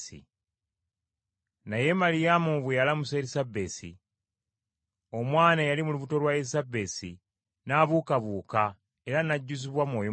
Naye Maliyamu bwe yalamusa Erisabesi, omwana eyali mu lubuto lwa Erisabesi n’abuukabuuka era n’ajjuzibwa Mwoyo Mutukuvu.